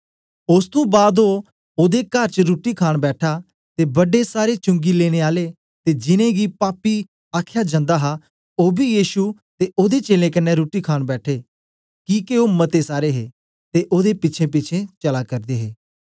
ओस तुं बाद ओ ओदे कार च रुट्टी खाण बैठा ते बडे सारे चुंगी लेने आले ते जिनैं गी पापी आख्या जन्दा हा ओ बी यीशु ते ओदे चेलें कन्ने रुट्टी खाण बैठे किके ओ मते सारे हे ते ओदे पिछेंपिछें चला करदे हे